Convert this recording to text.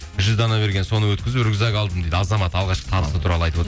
жүз дана берген соны өткізіп рюкзак алдым дейді азамат алғашқы табысы туралы айтып